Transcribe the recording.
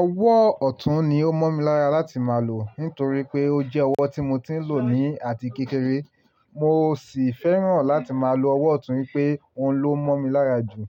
Ọwọ́ ọ̀tún ni ó mọ́ mi lára láti máa lò nítorí pé ó jẹ́ ọwọ́ tí mo ti ń lò ní àti kékeré. Mo sì fẹ́ràn láti máa lo ọwọ́ ọ̀tún pé òun ló mọ́ mi lára jù.